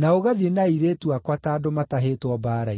na ũgathiĩ na airĩtu akwa ta andũ matahĩtwo mbaara-inĩ.